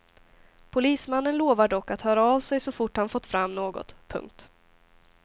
Polismannen lovar dock att höra av sig så fort han fått fram något. punkt